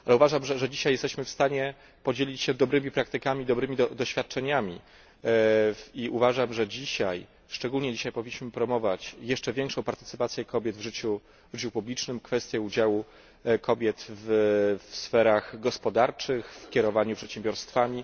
Ale uważam, że dzisiaj jesteśmy w stanie podzielić się dobrymi praktykami, dobrymi doświadczeniami. Uważam, że szczególnie dzisiaj powinniśmy promować jeszcze większą partycypację kobiet w życiu publicznym, kwestię udziału kobiet w sferach gospodarczych, w kierowaniu przedsiębiorstwami.